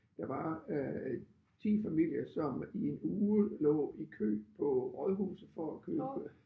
Der var øh 10 familier som i en uge lå i kø på rådhuset for at købe